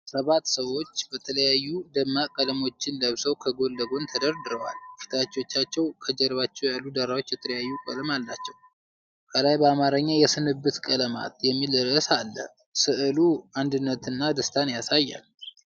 ሰባት ሰዎች የተለያዩ ደማቅ ቀለሞችን ለብሰው ከጎን ለጎን ተደርድረዋል። ፊቶቻቸውና ከጀርባቸው ያሉት ዳራዎች የተለያዩ ቀለማት አላቸው። ከላይ በአማርኛ "የስንብት ቀለማት" የሚል ርዕስ አለ። ስዕሉ አንድነትንና ደስታን ያሳያል።